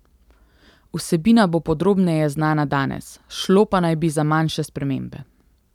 Vsebina bo podrobneje znana danes, šlo pa naj bi za manjše spremembe.